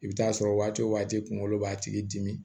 I bɛ t'a sɔrɔ waati o waati kunkolo b'a tigi dimi